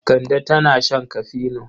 Kande tana shan kafino.